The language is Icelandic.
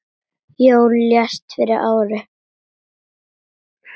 Jón lést fyrir ári.